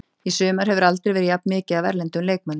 Í sumar hefur aldrei verið jafn mikið af erlendum leikmönnum.